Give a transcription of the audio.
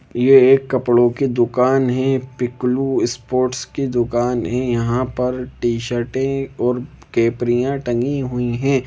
यह एक कपड़ों की दुकान है पीकलू स्पोर्ट की दुकान है यहां पर टी-शर्ट और कपड़िया टंगी हुई है।